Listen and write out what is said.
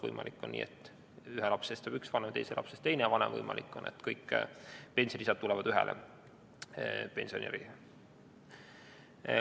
Võimalik on nii, et ühe lapse eest saab üks vanem ja teise lapse teine vanem, aga võimalik on ka nii, et kõik pensionilisad tulevad ühele pensionärile.